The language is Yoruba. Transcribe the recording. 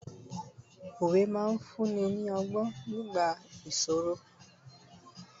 òwe ma n fún ni ni ogbon nigba ìṣòro